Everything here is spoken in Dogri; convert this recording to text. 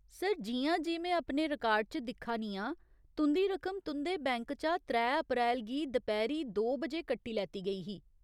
सर, जि'यां जे में अपने रिकार्ड च दिक्खा नी आं, तुं'दी रकम तुं'दे बैंक चा त्रै अप्रैल गी दपैह्‌री दो बजे कट्टी लैती गेई ही।